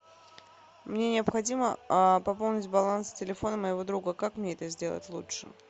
мне необходимо пополнить баланс телефона моего друга как мне это сделать лучше